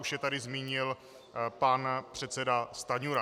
Už je tady zmínil pan předseda Stanjura.